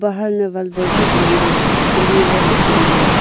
che ngan taiga sily was a chi ngan taiga.